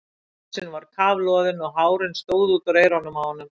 Hálsinn var kafloðinn og hárin stóðu út úr eyrunum á honum.